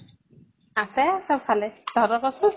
আছে চব ভালে, তহঁতৰ কʼচোন।